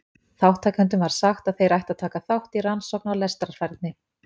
Þátttakendum var sagt að þeir ættu að taka þátt í rannsókn á lestrarfærni.